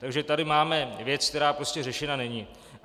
Takže tady máme věc, která prostě řešena není.